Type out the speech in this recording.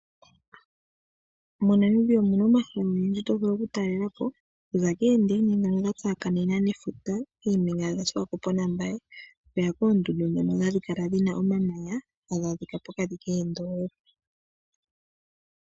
MoNamibia omu na omahala ogendji to vulu okutalela po okuza koondaina ndhono dha tsakanena nefuta koombinga dhaSwakopo naMbaye okuya koondundu ndhono hadhi kala dhi na omamanya hadhi kala pokati koondoolopa.